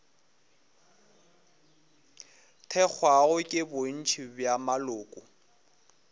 thekgwago ke bontši bja maloko